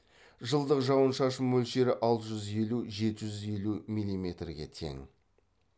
жылдық жауын шашын мөлшері алты жүз елу жеті жүз елу миллиметрге тең